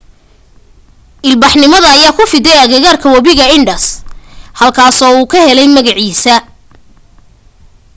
ilbaxnimada ayaa ku fiday agagaarka wabiga indus halkuu ka helay magaciisa